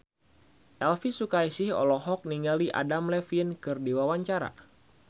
Elvi Sukaesih olohok ningali Adam Levine keur diwawancara